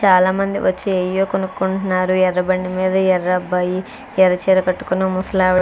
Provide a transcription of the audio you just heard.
చాలా మంది వచ్చి ఏవో కొనుక్కుంటున్నారు. ఎర్ర బండి మీద ఎర్ర అబ్బాయి ఎర్ర చీర కట్టుకున్న ముసలి ఆవిడ--